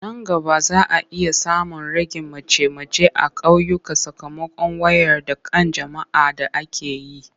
Nan gaba za a iya samun ragin mace-mace a ƙauyuka sakamakon wayar da kan jama'a da ake yi.